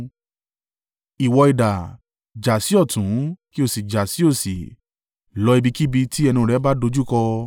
Ìwọ idà, jà sí ọ̀tún kí o sì jà sí òsì lọ ibikíbi tí ẹnu rẹ bá dojúkọ.